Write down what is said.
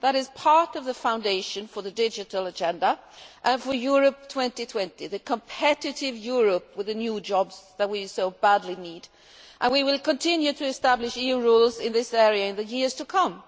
That is part of the foundation for the Digital Agenda and for Europe 2020 the competitive Europe with the new jobs that we so badly need and we will continue to establish EU rules in this area in the years to come.